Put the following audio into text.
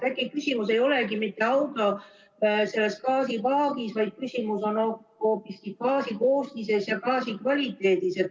Äkki küsimus ei olegi mitte auto gaasipaagis, vaid küsimus on hoopiski gaasi koostises ja gaasi kvaliteedis.